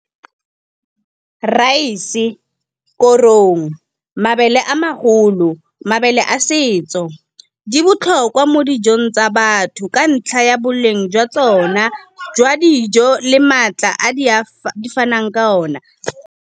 Raese, korong, mabele a magolo, mabele a setso. Di botlhokwa mo dijong tsa batho ka ntlha ya boleng jwa tsona, jwa dijo le maatla a di fanang ka ona.